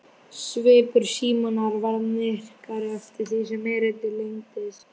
Svipur Símonar varð myrkari eftir því sem erindið lengdist.